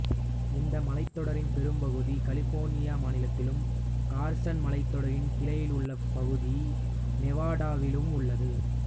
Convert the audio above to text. இந்த மலைத்தொடரின் பெரும்பகுதி கலிபோர்னியா மாநிலத்திலும் கார்சன் மலைத்தொடரின் கிளை உள்ள பகுதி நெவாடாவிலும் உள்ளது